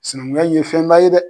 Sinankunya in ye fɛnba ye dɛ.